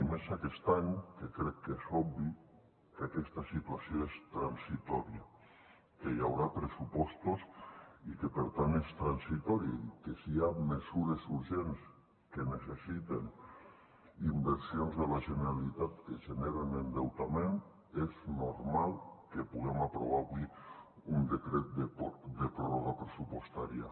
i més aquest any que crec que és obvi que aquesta situació és transitòria que hi haurà pressupostos i que per tant és transitòria i que si hi ha mesures urgents que necessiten inversions de la generalitat que generen endeutament és normal que puguem aprovar avui un decret de pròrroga pressupostària